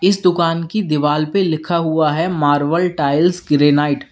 इस दुकान की दीवाल पे लिखा हुआ है मार्बल टाइल्स ग्रेनाइट --